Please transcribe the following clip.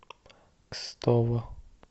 кстово